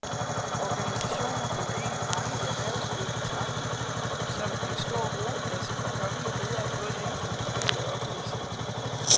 Organisationen bliver af mange i erhvervslivet betragtet som en stor rugekasse for kommende ledere både inden for den private og offentlige sektor.